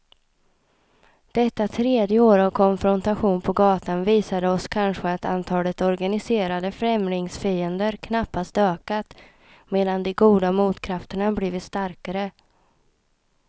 Detta tredje år av konfrontation på gatan visade oss kanske att antalet organiserade främlingsfiender knappast ökat, medan de goda motkrafterna blivit starkare.